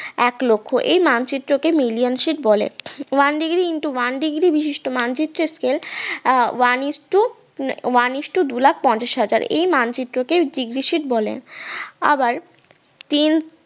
এক লক্ষ এই মানচিত্র কে million sheet বলে one degree into one degree বিশিষ্ট মানচিত্রের scale আহ one ইস্টু উম one ইস্টু দুই লাখ পঞ্চাশ হাজার এই মানচিত্র কে degree sheet আবার তিন